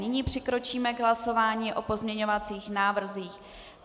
Nyní přikročíme k hlasování o pozměňovacích návrzích.